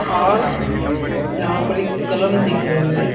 और यहां पर एक कलम दिख रहे हैं.